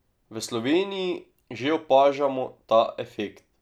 V Sloveniji že opažamo ta efekt.